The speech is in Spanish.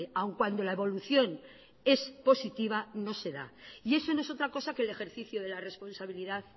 aún cuando la evolución es positiva no se da y eso no es otra cosa que el ejercicio de la responsabilidad